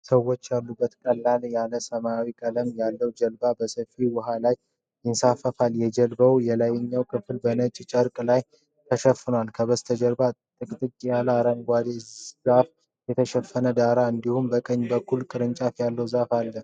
ሰዎች ያሉበት ቀለል ያለ ሰማያዊ ቀለም ያለው ጀልባ በሰፊ ውሃ ላይ ይንሳፈፋል። የጀልባው የላይኛው ክፍል በነጭ ጨርቅ ጥላ ተሸፍኗል። ከበስተጀርባ ጥቅጥቅ ያለ አረንጓዴ ዛፍ የተሸፈነ ዳርቻ እንዲሁም በቀኝ በኩል ቅርንጫፍ ያለው ዛፍ አለ።